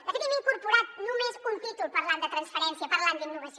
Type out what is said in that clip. de fet hi hem incorporat només un títol parlant de transferència parlant d’innovació